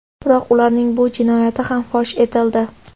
Biroq ularning bu jinoyati ham fosh etildi.